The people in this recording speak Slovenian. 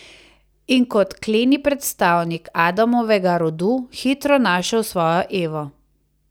In, kot kleni predstavnik Adamovega rodu, hitro našel svojo Evo ...